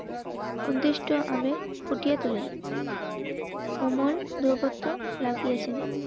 অদৃষ্ট আবেগ ফুটিয়ে তুলেন তাহারা গানটিতে রবীন্দ্রনাথ ফুটিয়ে তোলেন. কোমর দুর্গত লাগিয়েছেন.